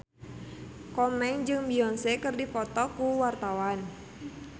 Komeng jeung Beyonce keur dipoto ku wartawan